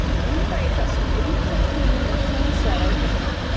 Ég kann minna í þessum Lúter þínum en þú, svaraði drengurinn.